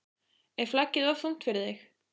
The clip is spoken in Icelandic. Er flaggið of þungt fyrir þig???